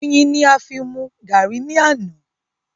Oyin ni a fi mú garri ni àná.